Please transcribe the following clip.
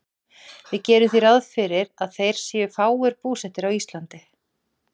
Við gerum því ráð fyrir að þeir séu fáir búsettir á Íslandi.